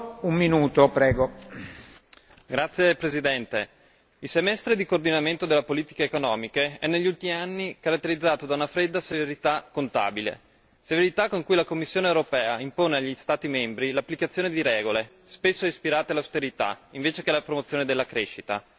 Signor Presidente, onorevoli colleghi, il semestre di coordinamento delle politiche economiche è negli ultimi anni caratterizzato da una fredda severità contabile, severità con cui la Commissione europea impone agli Stati membri l'applicazione di regole spesso ispirate all'austerità invece alla promozione della crescita.